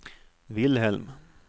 Wilhelm